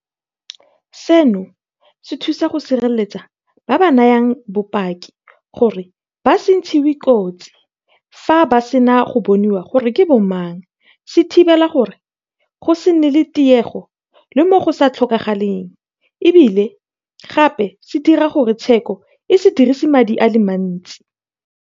Seno se thusa go sireletsa ba ba nayang bopaki gore ba se ntshiwe kotsi fa ba sena go bonwa gore ke bo mang, se thibela gore go se nne le tiego le mo go sa tlhokagaleng e bile gape se dira gore tsheko e se dirisi madi a le mantsi.